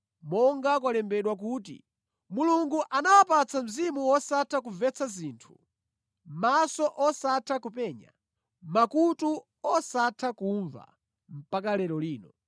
monga kwalembedwa kuti, “Mulungu anawapatsa mzimu wosatha kumvetsa zinthu, maso osatha kupenya; makutu osatha kumva mpaka lero lino.”